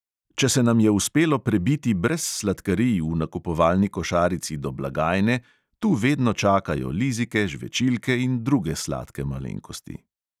Če se nam je uspelo prebiti brez sladkarij v nakupovalni košarici do blagajne, tu vedno čakajo lizike, žvečilke in druge sladke malenkosti.